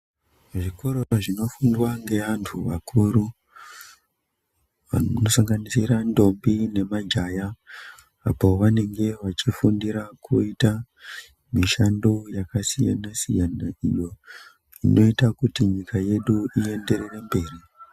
Zvikora zvinofundwa ngevantu akuru, zvinosanganisira ndombi nemajaya, apo vanenge vachifundira kuita mishando yakasiyana-siyana iyo, inoita kuti nyika yedu ienderere mberi.